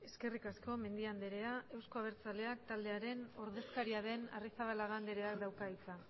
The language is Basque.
eskerrik asko mendia andrea euzko abertzaleak taldearen ordezkaria den arrizabalaga andrea dauka hitza